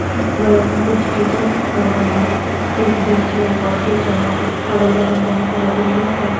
बगल में कुछ टीचर्स खड़े हैं एक बीच में एक और टीचर है अगल बगल बहोत सारे बिल्डिंग्स हैं।